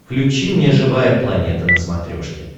включи мне живая планета на смотрешке